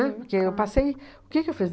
Porque eu passei. O que que eu fiz?